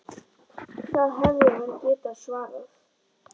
Það hefði hann getað svarið.